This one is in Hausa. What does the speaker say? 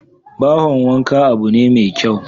Bohon wanka abu ne mai kyau